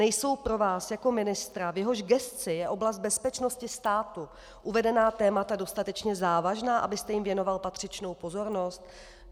Nejsou pro vás jako ministra, v jehož gesci je oblast bezpečnosti státu, uvedená témata dostatečně závažná, abyste jim věnoval patřičnou pozornost?